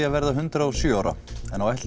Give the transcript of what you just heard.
að verða hundrað og sjö ára en á